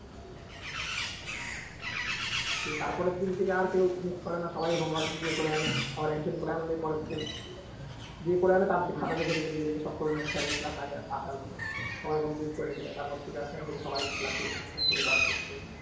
দিয়ে তারপরের দিন থেকে আর কেউ miss করে না সবাই home work complete করে আনে আবার একজন করে আনলে পরের জন যে করে আনে তার খাতা দেখে দেখে দেখে সব করে নেয় sir র class আসার আগে সবাই complete করে রেখে দেয় তারপর থেকে sir দেখে সবাই class ঠিকঠাক করে কাজ করছে।